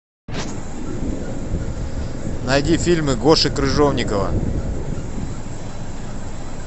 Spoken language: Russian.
найди фильмы гоши крыжовникова